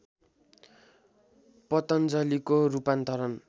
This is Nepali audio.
पतञ्जलिको रूपान्तर